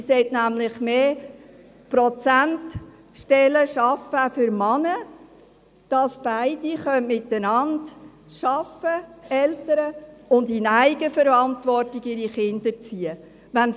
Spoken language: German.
Sie sollte nämlich mehr Prozentstellen für Männer schaffen, damit beide Eltern arbeiten und ihre Kinder in Eigenverantwortung erziehen können.